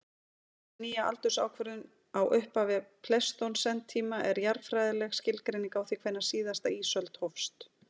Þessi nýja aldursákvörðun á upphafi pleistósentíma er jarðfræðileg skilgreining á því hvenær síðasta ísöld hófst.